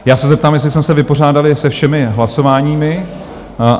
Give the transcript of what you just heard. Já se zeptám, jestli jsme se vypořádali se všemi hlasováními?